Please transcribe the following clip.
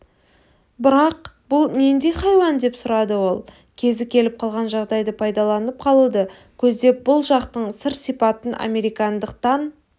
бірақ бұл нендей хайуан деп сұрады ол кезі келіп қалған жағдайды пайдаланып қалуды көздеп бұл жақтың сыр-сипатын американдықтан